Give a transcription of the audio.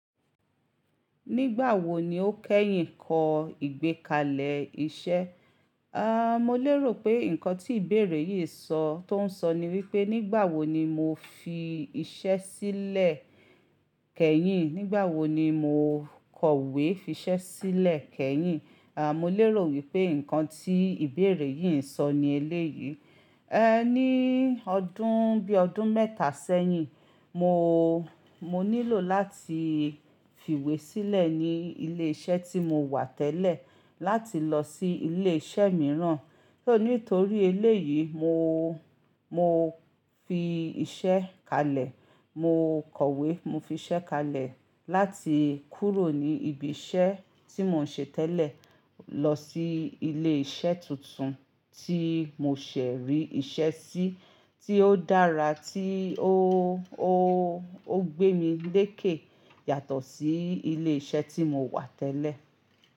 Nígbà wo ni o kẹ́yìn kọ ìgbékalẹ̀ iṣẹ́? A, mo lérò pé nǹkan tí ìbéèrè yìí ń sọ, tó ń sọ ni wípé nígbà wo ni mo fi iṣẹ́ sílẹ̀ kẹ́yìn, nígbà wo ni mo kọ̀wé fi iṣẹ́ sílẹ̀ kẹ́yìn? A, mo lérò wípé nǹkan tí ìbéèrè yìí ń sọ ni eléyìí. Ẹ, ní ọdún, bí ọdún mẹ́ta sẹ́yìn mo, mo nílò láti fiwé sílẹ̀ ní ilé iṣẹ́ tí mo wà tẹ́lẹ̀ láti lọ sí ilé iṣẹ́ mìíràn. Nítorí eléyìí mo, mo fi iṣẹ́ kalẹ̀. Mo kọ̀wé mo fi iṣẹ́ kalẹ̀ láti kúrò ní ibi iṣẹ́ tí mò ń ṣe tẹ́lẹ̀ lọ sí ilé iṣẹ́ tuntun tí mo ṣẹ̀ rí ìṣe sí tí ó dára tí ó, ó, ó gbé mi lékè yàtọ̀ sí ilé iṣẹ́ tí mo wà tẹ́lẹ̀.